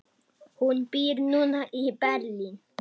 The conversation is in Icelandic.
Hún býr núna í Berlín.